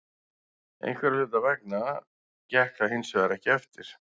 Einhverra hluta vegna gekk það hinsvegar ekki eftir.